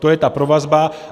To je ta provazba.